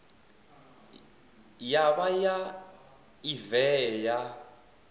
ya vha ya evee ya